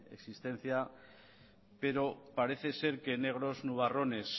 existencia pero parece ser que negros nubarrones